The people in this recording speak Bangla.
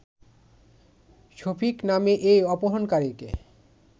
শফিক নামে এ অপহরণকারীকে